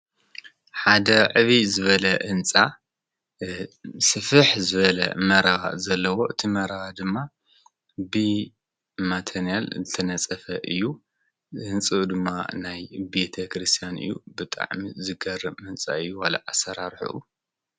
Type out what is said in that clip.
ሓደ ዕብይ ዝበለ ህንፃ ስፍሕ ዝበለ መረባ ዘለዎ እቲ መረባ ድማ ብማቴኔላ ዝተነፀፈ እዩ፡፡ ህንፅኡ ድማ ናይ ቤተክርስትያን እዩ ብጣዕሚ ዝገርም ህንፃ እዩ ዋላ ኣሰራርሕኡ፡፡